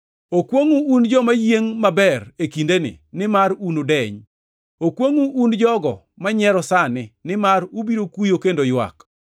Okwongʼu un joma yiengʼ maber e kindeni, nimar unudeny. Okwongʼu un jogo manyiero sani, nimar ubiro kuyo kendo ywak.